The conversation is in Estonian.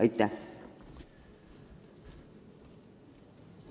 Aitäh!